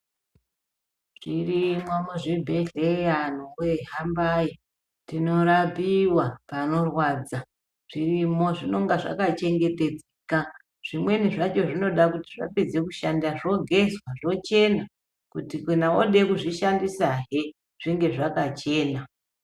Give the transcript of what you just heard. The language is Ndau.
Zvirimwo muzvibhedhleya antu voye hambai tinorapiva panorwadza. Zvirimo zvinonga zvakachengetedzeka zvimweni zvacho zvinoda kuti zvapedza kushanda zvogezwa zvochena. Kuti kana vode kuzvishandisahe zvinge zvakachena.